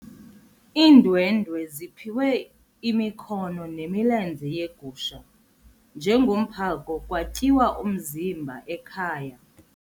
Iindwendwe ziphiwe imikhono nemilenze yegusha njengomphako kwatyiwa umzimba ekhaya.